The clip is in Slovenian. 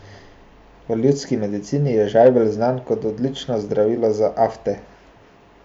V ljudski medicini je žajbelj znan kot odlično zdravilo za afte.